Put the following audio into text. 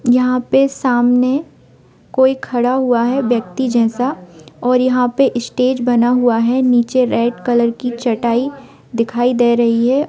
यहाँ पे सामने कोई खड़ा हुआ है व्यक्ति जैसा और यहाँ पर स्टेज बना हुआ है नीचे रेड कलर की चटाई दिखाई दे रही है।